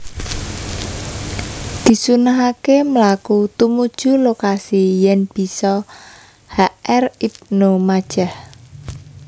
Disunnahaké mlaku tumuju lokasi yèn bisa H R Ibnu Majah